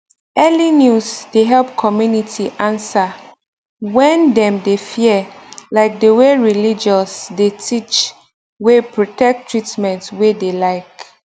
early news dey help community answer when dem de fear like de way religious de teach wey protect treatment wey dey like